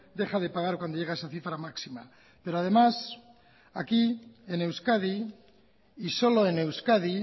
deja de pagar cuando llega a esa cifra máxima pero además aquí en euskadi y solo en euskadi